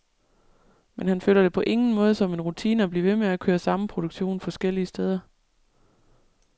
Men han føler det på ingen måde som en rutine at blive ved med at køre samme produktion forskellige steder.